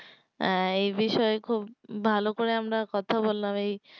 হ্যাঁ এই বিষয়ে খুব ভালো করে আমরা কথা বললাম এই